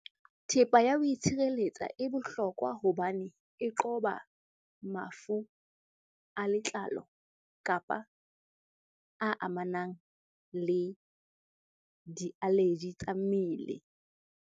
Thepa ya ho itshireletsa e bohlokwa hobane e qoba mafu a letlalo kapa a amanang le di-allergy tsa mmele.